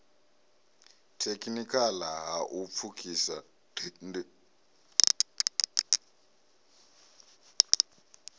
thekhinikhala ha u pfukhisa nd